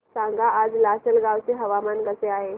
सांगा आज लासलगाव चे हवामान कसे आहे